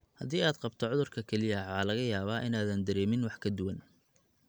Haddii aad qabto cudurka kelyaha, waxaa laga yaabaa inaadan dareemin wax ka duwan.